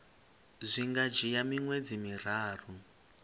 zwi nga dzhia miṅwedzi miraru